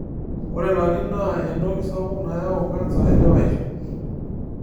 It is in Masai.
Ore larin naa entoki sapuk nayau kansa elewaisho.